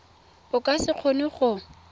o ka se kgone go